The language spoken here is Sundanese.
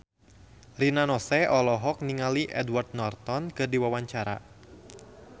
Rina Nose olohok ningali Edward Norton keur diwawancara